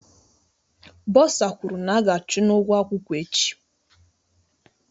Bosa kwuru na aga achụ n'ugwo akwụkwọ echi